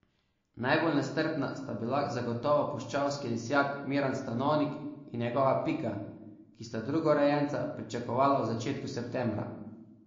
Najbolj nestrpna sta bila zagotovo puščavski lisjak Miran Stanovnik in njegova Pika, ki sta drugorojenca pričakovala v začetku septembra.